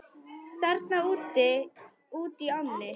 Þarna útí ánni?